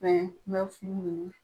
n bɛ furu ɲini